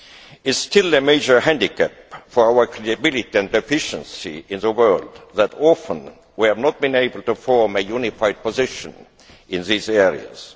It is still a major handicap for our credibility and efficiency in the world that often we have not been able to form a unified position in these areas.